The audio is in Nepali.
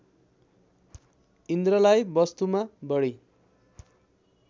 इन्द्रलाई वस्तुमा बढी